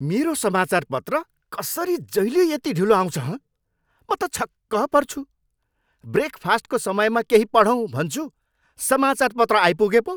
मेरो समाचारपत्र कसरी जहिल्यै यति ढिलो आउँछ, हँ? म त छक्क पर्छु। ब्रेकफास्टको समयमा केही पढौँ भन्छु, समाचारपत्र आइपुगे पो!